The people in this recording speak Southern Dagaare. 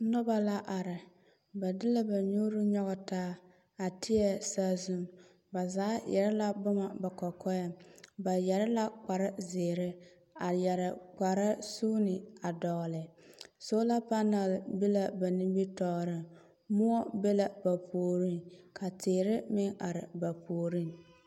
Noba la are ba deɛ ba nuuri nyɔge taa a teɛ saazu. Ba zaa yɛre la boma ba kɔkɔɛŋ. Ba yɛre la kpare zeere, a yɛre kpare suuni a dɔgele. Sola panɛle be la ba nimtɔɔreŋ, moɔ be la ba puoriŋ ka teer meŋ are ba puoroŋ.